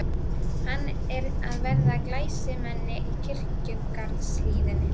Hann er að verða glæsimennið í kirkjugarðshliðinu.